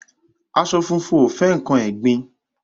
Aṣọ funfun ò fẹ́ nǹkan ẹ̀gbin.